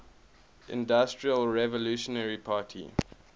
institutional revolutionary party